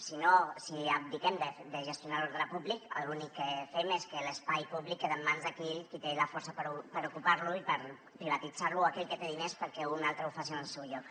si no si abdiquem de gestionar l’ordre públic l’únic que fem és que l’espai públic queda en mans d’aquell qui té la força per ocupar lo i per privatitzar lo o aquell que té diners perquè un altre ho faci en el seu lloc